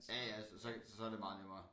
Ja ja så så så det meget nemmere